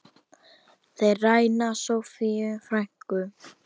Þeir ræna Soffíu frænku.